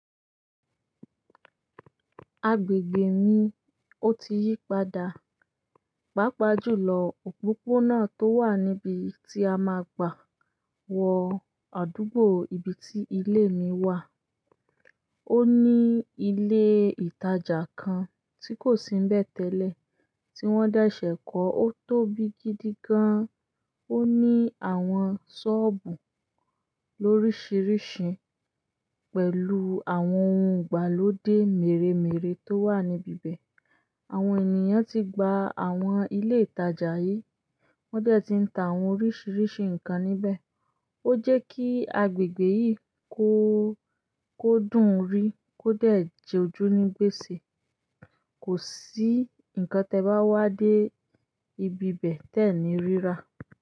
Agbègbè mi ó tí yí padà, pàápàá jùlọ òpópónà tó wà níbi tí a máa gbà wọ àdúgbò ibi tí ilé mi wà. Ó ní ilé ìtajà kan tí kò sí ńbẹ̀ tẹ́lẹ̀, tí wọ́n dẹ̀ ṣẹ̀ kọ́. Ó tóbi gidi gan-an, ó ní àwọn ṣọ́ọ̀bù lóríṣìíríṣìí pẹ̀lú àwọn ohun ìgbàlódé mèremère tó wà níbi 'bẹ̀. Àwọn ènìyàn ti gba àwọn ilé ìtajà yìí, wọ́n dẹ̀ ti ń ta àwọn oríṣìíríṣìí nǹkan níbẹ̀. Ó jẹ́ kí agbègbè yìí kó, kó dùn rí, kó dẹ̀ jọjú ní gbèsè. Kò sí nǹkan tẹ́ẹ bá wá dé ibi ibẹ̀ tẹ́ẹ̀ ní rí rà.